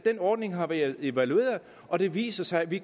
ordningen har været evalueret og det viser sig at vi